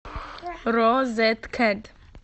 розеткет